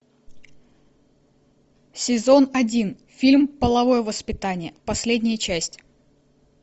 сезон один фильм половое воспитание последняя часть